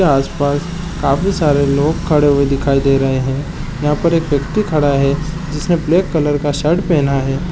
के आस-पास काफी सारे लोग खड़े हुए दिखाई दे रहे है यहाँ पर एक व्यक्ति खड़ा है जिसने ब्लैक कलर का शर्ट पेहना है।